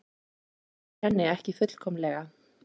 Hann treystir henni ekki fullkomlega.